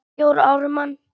Jón Ármann